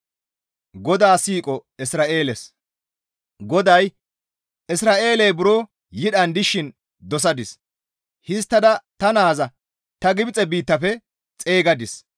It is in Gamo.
GODAY, «Isra7eeley buro yidhan dishin dosadis. Histtada ta naaza ta Gibxe biittafe xeygadis.